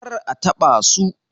kar a taɓa su.